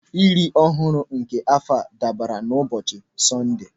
Iri ọhụrụ nke afọ a dabara n'ụbọchị Sọnde.